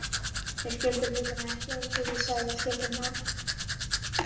Þeir skildu hlutina ekki eins og við Sævar skildum þá.